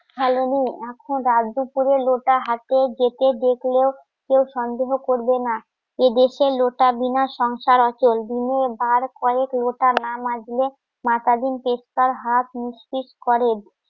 এখন রাত দুপুরে লোটা হাতে ডেকে ডেকেও কেউ সন্দেহ করবে না এদেশে লোটাবিনা সংসার অচল দিনে বার কয়েক লোটা না মাজলে মাথা দিন টেক্কার হাত নিশ্চিত করেন